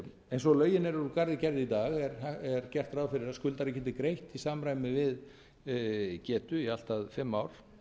eins og lögin eru úr garði gerð í dag er gert ráð fyrir að skuldari geti greitt í samræmi við getu í allt að fimm ár